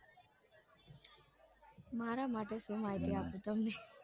મારા માટે શું માહિતી આપું તમને